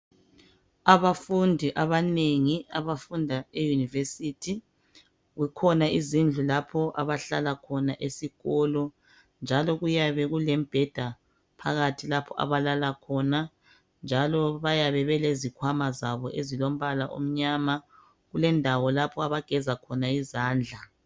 Abafundi abanengi abafunda eunivesithi. Kukhona izindlu lapho abahlala khona esikolo njalo kuyabe kulembheda phakathi lapho abalala khona njalo bayabe belezikhwama zabo ezilombala omnyama. Kulendawo lapha abageza khona izandla.